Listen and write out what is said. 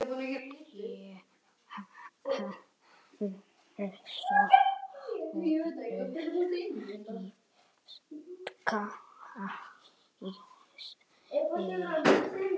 Ég heyrði Sóldísi ræskja sig.